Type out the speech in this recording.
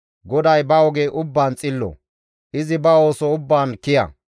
GODAY ba oge ubbaan xillo; izi ba ooso ubbaan kiya.